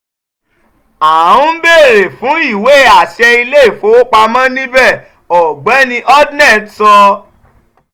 à ń beèèrè fún ìwé àṣẹ ile-ifowopamọ nibẹ ọgbẹni hodnett sọ.